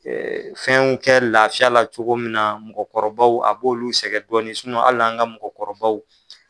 fɛn kɛ laafiya la cogo min na mɔgɔkɔrɔbaw a b'olu sɛgɛn dɔɔni hali an ka mɔgɔkɔrɔbaw